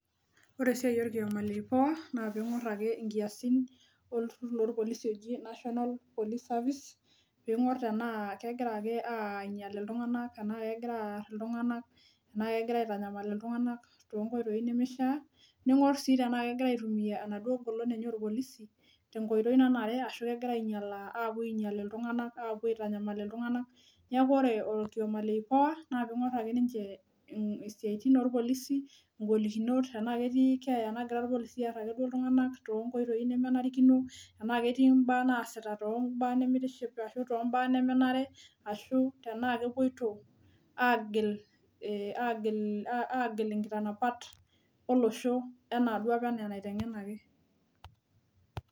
Ore esiai orkioma le IPOA na ping'or ake inkiasin lorpolisi oji National Police Service, ping'or tenaa kegira ake ainyal iltung'anak tenaa kegira aar iltung'anak, tenaa kegira aitanyamal iltung'anak tonkoitoii nemishaa, ning'or si tenaa kegira aitumia enaduo golon enye orpolisi tenkoitoi nanare ashu kegira ainyalaa apuo ainyal iltung'anak, apuo aitanyamal iltung'anak. Neeku ore orkioma le IPOA na ping'or ake ninche isiaitin orpolisi, igolikinot tenaa ketii keeya nagira irpolisi aar ake duo iltung'anak tonkoitoii nemenarikino, enaa ketii mbaa naasita tombaa nimitiship ashu tombaa nemenare, ashu tenaa kepoito agil agil inkitanapat olosho enaduo apa enaa enaiteng'enaki.